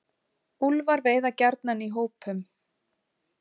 Úlfar veiða gjarnan í hópum.